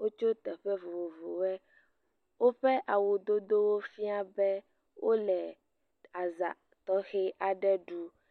wotso teƒe vovovowɔe. Woƒe awudodowo fia be wole aza tɔxe aɖe ɖum.